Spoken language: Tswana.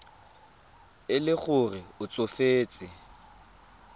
e le gore o tsofetse